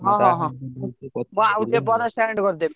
ହଁ ହଁ ମୁଁ ଆଉ ଟିକେ ପରେ send କରିଦେବି।